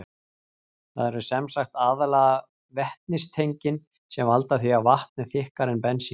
Það eru sem sagt aðallega vetnistengin sem valda því að vatn er þykkara en bensín.